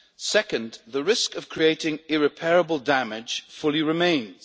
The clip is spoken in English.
Second, the risk of creating irreparable damage fully remains.